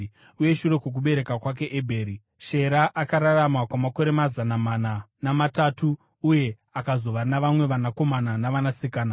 Uye shure kwokubereka kwake Ebheri, Shera akararama kwamakore mazana mana namatatu uye akazova navamwe vanakomana navanasikana.